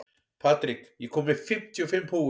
Patrik, ég kom með fimmtíu og fimm húfur!